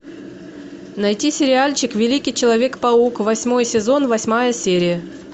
найти сериальчик великий человек паук восьмой сезон восьмая серия